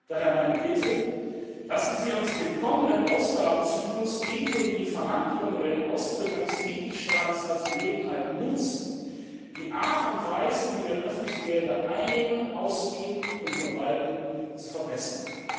Daher meine Bitte Lassen Sie uns den kommenden Ausgabenzyklus ebenso wie die Verhandlungen über den Austritt eines Mitgliedstaats als Gelegenheit nutzen, die Art und Weise, wie wir öffentliche Gelder einnehmen, ausgeben und verwalten, zu verbessern.